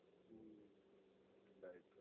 હમ્મ right